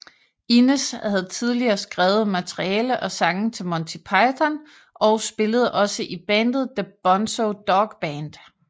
Innes havde tidligere skrevet materiale og sange til Monty Python og spillede også i bandet The Bonzo Dog Band